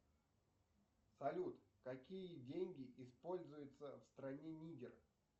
салют какие деньги используются в стране нигер